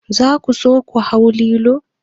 Za ku so ku hau lilo?